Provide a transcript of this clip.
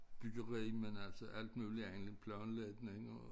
Byggeri men altså alt muligt andet planlægning og